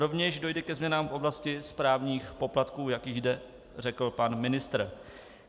Rovněž dojde ke změnám v oblasti správních poplatků, jak již zde řekl pan ministr.